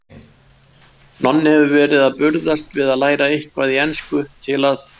Nonni hefur verið að burðast við að læra eitthvað í ensku til að